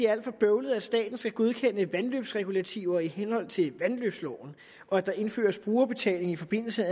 er alt for bøvlet at staten skal godkende vandløbsregulativer i henhold til vandløbsloven og at der indføres brugerbetaling i forbindelse